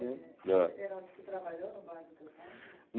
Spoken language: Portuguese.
Heródoto você trabalhou no bar do seu pai?